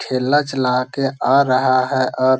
ठेला चला के आ रहा है और --